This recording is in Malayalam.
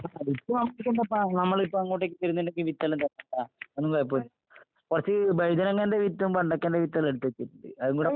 ആഹ് വിത്ത് നമ്മള് ഇപ്പ അങ്ങോട്ടേക്ക് തരുന്നുണ്ടെങ്കി വിത്തെല്ലാം തരൂപ്പാ അതൊന്നും കൊഴപ്പീല്ല. കൊറച്ച് വഴുതനങ്ങേന്റെ വിത്തും വെണ്ടയ്‌ക്കേന്റെ വിത്തെല്ലാം എടുത്ത് വെച്ചിട്ടിണ്ട്. അതുംകൂടെ